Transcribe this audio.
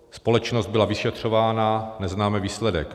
Společnost byla vyšetřována, neznáme výsledek.